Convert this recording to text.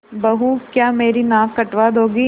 बहू क्या मेरी नाक कटवा दोगी